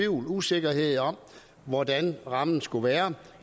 usikkerhed om hvordan rammen skal være